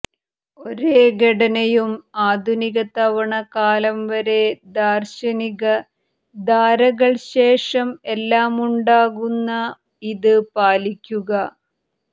ഒരേ ഘടനയും ആധുനിക തവണ കാലം വരെ ദാർശനിക ധാരകൾ ശേഷം എല്ലാ ഉണ്ടാകുന്ന ഇത് പാലിക്കുക